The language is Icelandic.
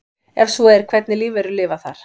Ef svo er hvernig lífverur lifa þar?